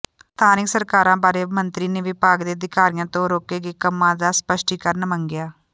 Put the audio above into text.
ਸਥਾਨਕ ਸਰਕਾਰਾਂ ਬਾਰੇ ਮੰਤਰੀ ਨੇ ਵਿਭਾਗ ਦੇ ਅਧਿਕਾਰੀਆਂ ਤੋਂ ਰੋਕੇ ਗਏ ਕੰਮਾਂ ਦਾ ਸਪੱਸ਼ਟੀਕਰਨ ਮੰਗਿਆ